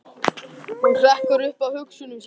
Hún hrekkur upp af hugsunum sínum.